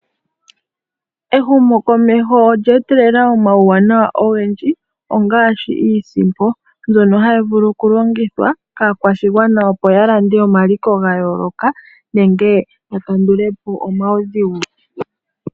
Ehumokomeho olye etelela omawuwanawa ogendji ongaashi iisimpo mbyono hayi vulu okulongithwa yaakwashigwana opo ya lande omaliko ga yooloka nenge ya kandulepo omawudhigu